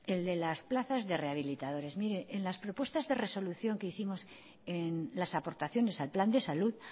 el de las plazas de rehabilitadores mire en las propuestas de resolución que hicimos en las aportaciones al plan de salud